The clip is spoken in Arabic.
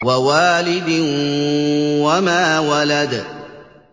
وَوَالِدٍ وَمَا وَلَدَ